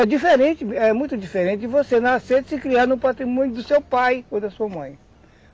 É diferente, é muito diferente de você nascer e se criar no patrimônio do seu pai ou da sua mãe.